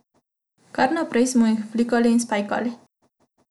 Kar naprej smo jih flikali in spajkali.